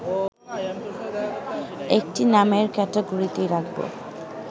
একটি নামের ক্যাটাগরিতেই রাখব